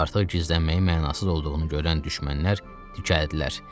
Artıq gizlənməyin mənasız olduğunu görən düşmənlər dikəldilər.